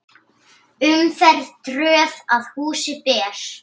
Umferð tröð að húsi ber.